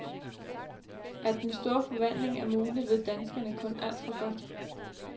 At den store forvandling er mulig, ved danskerne kun alt for godt.